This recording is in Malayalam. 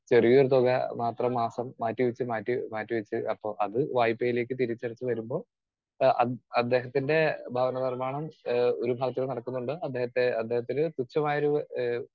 സ്പീക്കർ 2 ചെറിയൊരു തുക മാത്രം മാസം മാറ്റിവെച്ച് മാറ്റി മാറ്റിവെച്ച് അപ്പോ അത് വായ്പ യിലേക്ക് തിരിച്ചടച്ചു വരുമ്പോൾ അദ് അദ്ദേഹത്തിൻറെ ഭവനനിർമ്മാണം ഏഹ് ഒരുഭാഗത്ത് നടക്കുന്നുണ്ട് അദ്ദേഹത്തിനു തുച്ഛമായൊരു